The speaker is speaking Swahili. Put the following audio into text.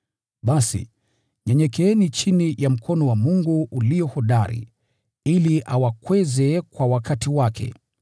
Basi, nyenyekeeni chini ya mkono wa Mungu ulio hodari, ili awakweze kwa wakati wake.